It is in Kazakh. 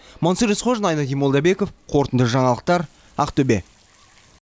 мансұр есқожин айнадин молдабеков қорытынды жаңалықтар ақтөбе